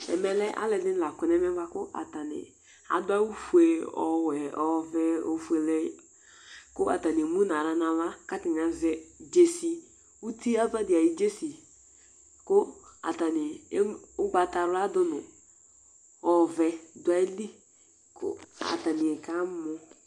ɛmɛ lɛ alo ɛdini la kɔ n'ɛmɛ boa kò atani adu awu fue ɔwɛ ɔvɛ ofuele kò atani emu n'ala n'ava k'atani azɛ dzesi uti ava di ayi dzesi kò atani ugbata wla do no ɔvɛ do ayi li kò atani ka mɔ